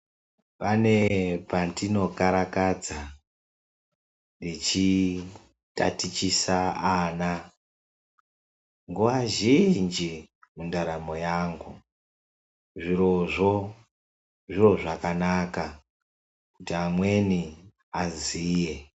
Pane pandinokarakadze ndechitatichise ana nguva zhinji mundaramo yangu. Zvirozvo zviro zvakanaka kuti amweni aziye.